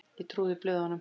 Ég trúði blöðunum.